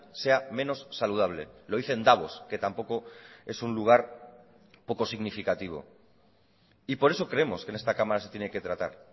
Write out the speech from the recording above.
sea menos saludable lo dice en davos que tampoco es un lugar poco significativo y por eso creemos que en esta cámara se tiene que tratar